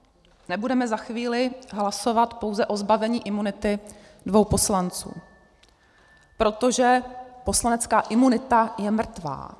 - nebudeme za chvíli hlasovat pouze o zbavení imunity dvou poslanců, protože poslanecká imunita je mrtvá.